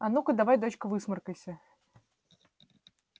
а ну-ка давай дочка высморкайся